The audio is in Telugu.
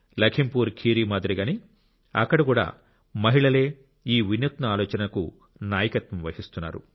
లఖింపూర్ ఖీరి మాదిరిగానే అక్కడ కూడా మహిళలే ఈ వినూత్న ఆలోచనకు నాయకత్వం వహిస్తున్నారు